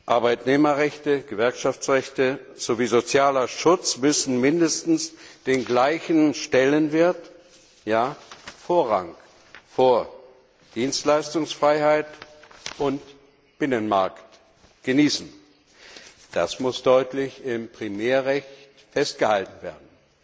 Arbeitnehmerrechte, Gewerkschaftsrechte sowie sozialer Schutz müssen mindestens den gleichen Stellenwert und ja, den Vorrang vor Dienstleistungsfreiheit und Binnenmarkt genießen. Das muss im Primärrecht deutlich festgehalten werden.